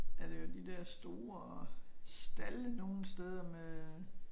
Er det jo de dér store stalde nogen steder med øh